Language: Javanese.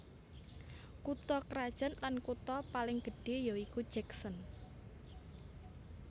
Kutha krajan lan kutha paling gedhé ya iku Jackson